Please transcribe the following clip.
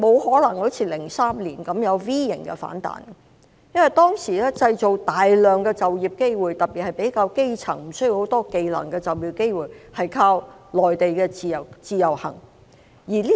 在2003年，我們靠內地的自由行來製造大量的就業機會，特別為較基層人士、無需具備很多技能的人士製造就業機會。